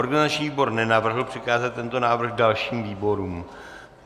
Organizační výbor nenavrhl přikázat tento návrh dalším výborům.